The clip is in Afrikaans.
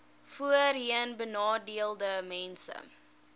voorheenbenadeeldesmense